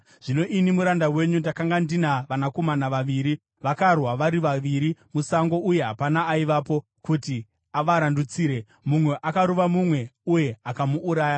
Zvino ini muranda wenyu ndakanga ndina vanakomana vaviri. Vakarwa vari vaviri musango, uye hapana aivapo kuti avarandutsire. Mumwe akarova mumwe uye akamuuraya.